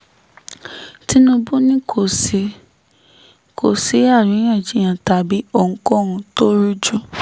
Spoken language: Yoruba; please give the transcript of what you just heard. tinúbú ni kò sí kò sí àríyànjiyàn tàbí ohunkóhun tó rújú